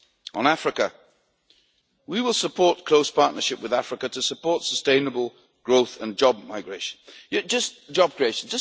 On Africa we will support close partnership with Africa to foster sustainable growth and job creation.